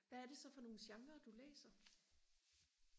hvad er det så for nogle genrer du læser